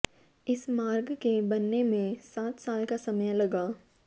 इस मार्ग के बनने में सात साल का समय लगा